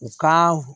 U ka